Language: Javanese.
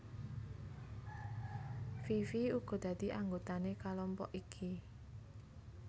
Fifi uga dadi anggotané kalompok iki